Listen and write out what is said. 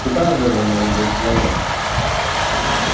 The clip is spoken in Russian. куда же вы молодой человек